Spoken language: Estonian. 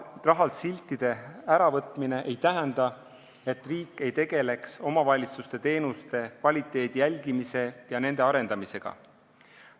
Rahalt siltide äravõtmine ei tähenda, et riik ei tegeleks omavalitsuste teenuste kvaliteedi jälgimise ja teenuste arendamisega.